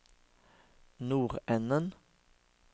nordenden